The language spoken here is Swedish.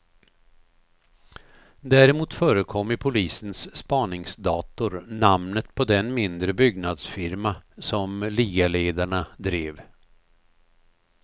Däremot förekom i polisens spaningsdator namnet på den mindre byggnadsfirma som ligaledarna drev.